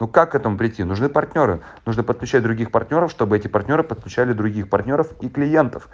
ну как к этому прийти нужны партнёры нужно подключать других партнёров чтобы эти партнёры подключали других партнёров и клиентов